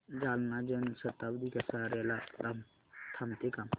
जालना जन शताब्दी कसार्याला थांबते का